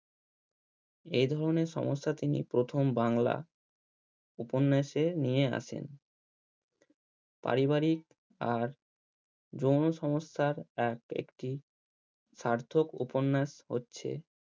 এই ধনের সমস্যা তিনি প্রথম বাংলা উপন্যাসে নিয়ে আসেন পারিবারিক আর যৌন সমস্যার এক একটি স্বার্থক উপন্যাস হচ্ছে